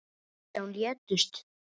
Nítján létust.